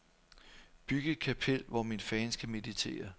Byg et kapel, hvor mine fans kan meditere.